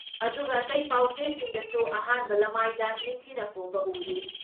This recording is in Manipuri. ꯑꯗꯨꯒ ꯑꯇꯩ ꯄꯥꯎꯆꯦꯁꯤꯡꯗꯁꯨ ꯑꯍꯥꯟꯕ ꯂꯃꯥꯏꯗ ꯅꯤꯡꯊꯤꯅ ꯐꯣꯡꯕ ꯎꯔꯤ ꯫